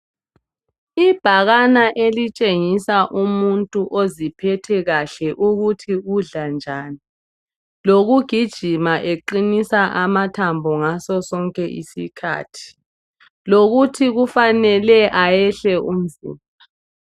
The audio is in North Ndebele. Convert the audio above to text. Ibhakane elitshengisa umuntu oziphethe kahle ukuthi udla njani. Lokugijima eqinisa amathambo ngaso sonke isikhathi. Lokuthi kufanele ayehle umzimba.